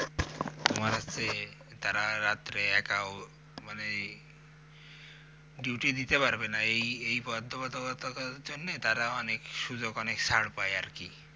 তোমার হচ্ছে তারা রাত্রে একা উম মানে duty দিতে পারবে না এই এই বাধ্যবাধকতা অটার জন্য তারা অনেক সুযোগ অনেক ছাড় পায় আরকি